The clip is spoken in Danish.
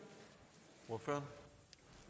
her for